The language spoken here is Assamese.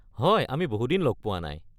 হয়, আমি বহুদিন লগ পোৱা নাই।